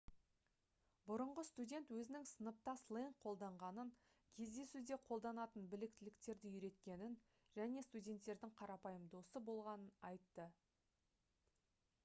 бұрынғы студент өзінің сыныпта сленг қолданғанын кездесуде қолданатын біліктіліктерді үйреткенін және студенттердің қарапайым досы болғанын айтты